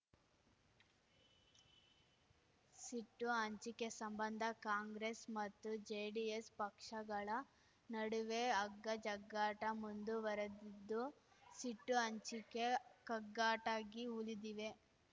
ಸಿಟ್ಟು ಹಂಚಿಕೆ ಸಂಬಂಧ ಕಾಂಗ್ರೆಸ್ ಮತ್ತು ಜೆಡಿಎಸ್ ಪಕ್ಷಗಳ ನಡುವೆ ಅಗ್ಗಜಗ್ಗಾಟ ಮುಂದುವರೆದಿದ್ದು ಸಿಟ್ಟು ಹಂಚಿಕೆ ಕಗ್ಗಟ್ಟಾಗಿ ಉಳಿದಿವೆ